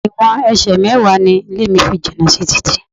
Ìwọ̀n ẹsẹ̀ mẹ́wàá ni ilé mi fi jìnà sí títì.